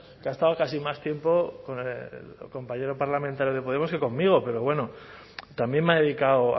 que ha estado casi más tiempo con el compañero parlamentario de podemos que conmigo pero bueno también me ha dedicado